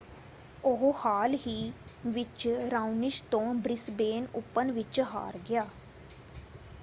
ਉਹ ਹਾਲ ਹੀ ਵਿੱਚ ਰਾਓਨਿਸ਼ ਤੋਂ ਬ੍ਰਿਸਬੇਨ ਓਪਨ ਵਿੱਚ ਹਾਰ ਗਿਆ।